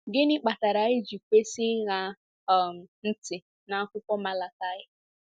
Gịnị kpatara anyị ji kwesị ịṅa um ntị n’akwụkwọ Malakaị?